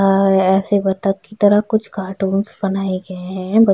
अ-अ एैसे बतख की तरह कुछ कार्टून्स बनाए गए है बत --